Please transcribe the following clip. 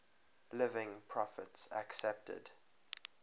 living prophets accepted